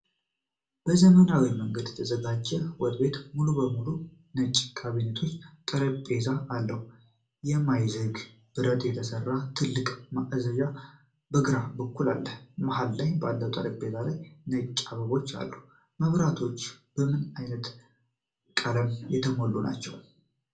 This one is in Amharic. በዘመናዊ መንገድ የተዘጋጀው ወጥ ቤት ሙሉ በሙሉ ነጭ ካቢኔቶችና ጠረጴዛ አለው። ከማይዝግ ብረት የተሰራ ትልቅ ማቀዝቀዣ ከግራ በኩል አለ። መሀል ላይ ባለው ጠረጴዛ ላይ ነጭ አበባዎች አሉ። መብራቶቹ በምን ዓይነት ቀለም የተሞሉ ናቸው?